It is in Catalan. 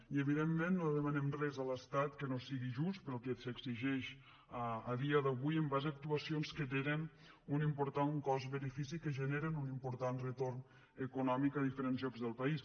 i evidentment no demanem res a l’estat que no sigui just pel que s’exigeix a dia d’avui en base a actuacions que tenen un important cost benefici que generen un important retorn econòmic a diferents llocs del país